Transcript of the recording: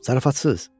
Zarafatsız.